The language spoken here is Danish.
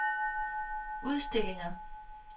udstillinger